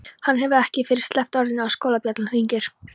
Hann hefur ekki fyrr sleppt orðinu en skólabjallan hringir.